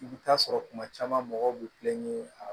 I bɛ taa sɔrɔ kuma caman mɔgɔw bɛ kulonkɛ a la